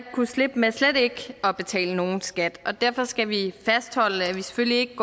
kunne slippe med slet ikke at betale nogen skat og derfor skal vi fastholde at vi selvfølgelig ikke